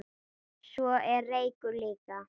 Svo er reykur líka.